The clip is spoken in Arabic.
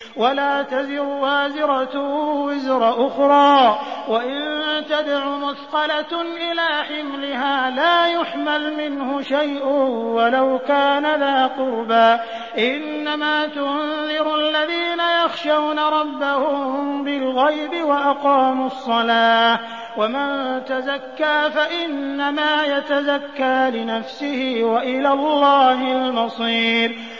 وَلَا تَزِرُ وَازِرَةٌ وِزْرَ أُخْرَىٰ ۚ وَإِن تَدْعُ مُثْقَلَةٌ إِلَىٰ حِمْلِهَا لَا يُحْمَلْ مِنْهُ شَيْءٌ وَلَوْ كَانَ ذَا قُرْبَىٰ ۗ إِنَّمَا تُنذِرُ الَّذِينَ يَخْشَوْنَ رَبَّهُم بِالْغَيْبِ وَأَقَامُوا الصَّلَاةَ ۚ وَمَن تَزَكَّىٰ فَإِنَّمَا يَتَزَكَّىٰ لِنَفْسِهِ ۚ وَإِلَى اللَّهِ الْمَصِيرُ